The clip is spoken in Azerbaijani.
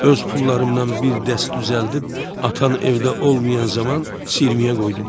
Öz pullarımdan bir dəst düzəldib atan evdə olmayan zaman siyirməyə qoydum.